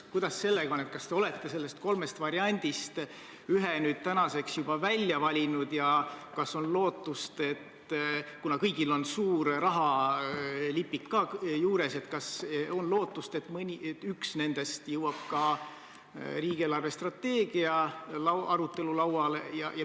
Kuidas sellega on: kas te olete nendest kolmest variandist ühe tänaseks juba välja valinud ja kuna kõigil on ka suur rahalipik juures, siis kas on lootust, et üks nendest jõuab riigi eelarvestrateegia arutelul lauale?